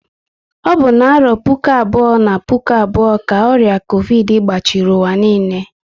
Ọ bụ na arọ puku abụọ na puku abụọ ka ọrịa covidi gbachiri ụwa niile